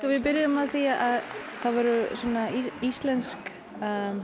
við byrjuðum á því það voru svona íslensk